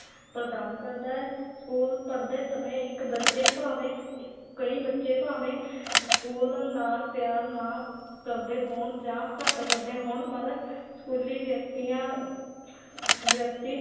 ਪ੍ਰਦਾਨ ਕਰਦਾ ਹੈ school ਪੜ੍ਹਦੇ ਸਮੇਂ ਇੱਕ ਬੱਚੇ ਭਾਵੇਂ ਇ ਕਈ ਬੱਚੇ ਭਾਵੇਂ school ਨਾਲ ਪਿਆਰ ਨਾ ਕਰਦੇ ਹੋਣ ਜਾਂ ਘੱਟ ਕਰਦੇ ਹੋਣ, ਪਰ ਸਕੂਲੀ ਵਿਅਕਤੀਆਂ ਵਿਅਕਤੀ